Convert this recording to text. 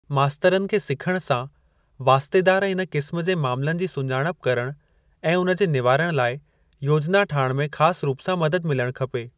मास्तरनि खे सिखण सां वास्तेदार इन क़िस्म जे मामलनि जी सुञाणप करण ऐं उनजे निवारण लाइ योजना ठाहिण में ख़ासि रूप सां मदद मिलणु खपे।